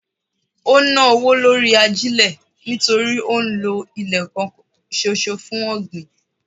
Ó ń ná owó lórí ajílẹ̀ nítorí ó ń lọ ilẹ̀ kan ṣoṣo fún ọ̀gbìn.